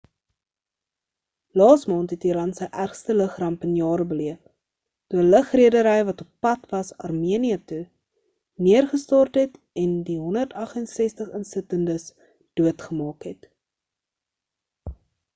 laas maand het iran sy ergste lug ramp in jare beleef toe 'n lugredery wat oppad was armenië toe neergestort het en die 168 insittendes doodgemaak het